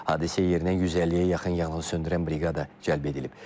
Hadisə yerinə 150-yə yaxın yanğınsöndürən briqada cəlb edilib.